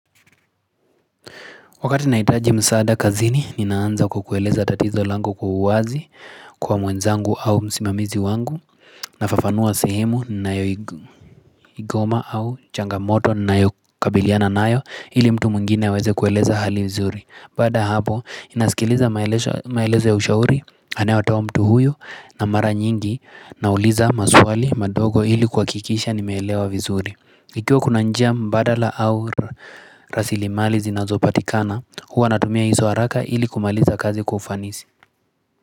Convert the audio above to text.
Wakati nahitaji msaada kazini, ninaanza kukueleza tatizo lango kwa uwazi kwa mwenzangu au msimamizi wangu nafafanua sehemu ninayo igoma au changamoto ninayokabiliana nayo ili mtu mwingine aweze kueleza hali vizuri Baada ya hapo, inasikiliza maelezo ya ushauri, anayotoa mtu huyo na mara nyingi nauliza maswali madogo ili kuhakikisha nimeelewa vizuri Ikiwa kuna njia mbadala au rasili mali zinazopatikana huwa natumia hizo haraka ili kumaliza kazi kwa ufanisi.